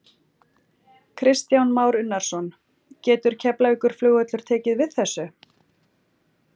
Kristján Már Unnarsson: Getur Keflavíkurflugvöllur tekið við þessu?